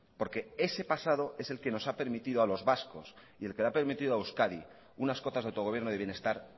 porque ese pasado es el que nos ha permitido a los vascos y el que le ha permitido a euskadi unas cotas de autogobierno de bienestar